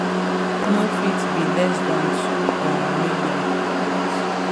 no fit be less dan two um million